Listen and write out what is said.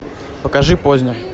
покажи познер